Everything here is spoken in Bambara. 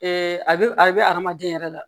a bɛ a bɛ adamaden yɛrɛ la